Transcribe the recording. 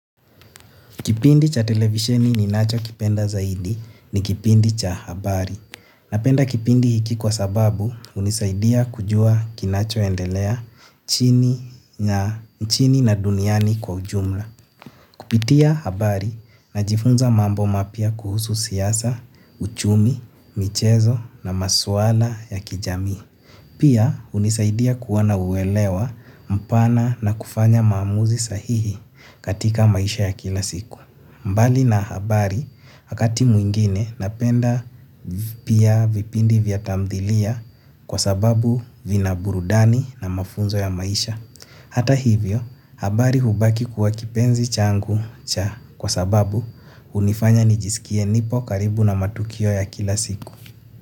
Kipindi cha televisheni ninachokipenda zaidi ni kipindi cha habari. Napenda kipindi hiki kwa sababu hunisaidia kujua kinachoendelea nchini na duniani kwa ujumla. Kupitia habari najifunza mambo mapya kuhusu siasa, uchumi, michezo na masuala ya kijami. Pia hunisaidia kuwa na uelewa mpana na kufanya maamuzi sahihi katika maisha ya kila siku. Mbali na habari wakati mwingine napenda pia vipindi vya tamthilia kwa sababu vina burudani na mafunzo ya maisha. Hata hivyo, habari hubaki kuwa kipenzi changu cha kwa sababu unifanya nijisikie nipo karibu na matukio ya kila siku.